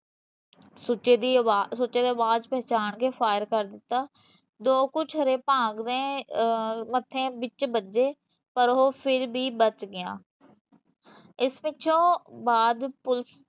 ਸੁਚੇ ਦੀ ਆਵਾਜ਼, ਸੁੱਚੇ ਨੇ ਆਵਾਜ਼ ਪਹਿਚਾਣ ਕੇ fire ਕਰ ਦਿੱਤਾ ਜੋ ਕੁਛ ਹਲੇ ਭਾਗ ਦੇ ਮੱਥੇ ਵਿੱਚ ਵੱਜੇ ਪਰ ਉਹ ਫਿਰ ਵੀ ਬਚ ਗਿਆ ਇਸ ਪਿੱਛੋਂ ਬਾਦ police